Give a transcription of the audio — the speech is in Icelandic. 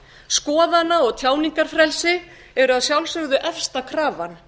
skoðana og tjáningarfrelsi eru að sjálfsögðu efsta krafan